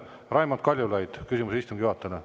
Enne Raimond Kaljulaid, küsimus istungi juhatajale.